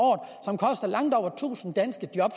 som koster langt over tusind danske job